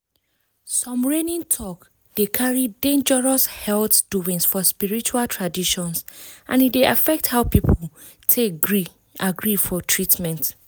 talks wey dey reign online sometimes um dey share dangerous cure among some believers and e dey affect how dem take gree for treatment. um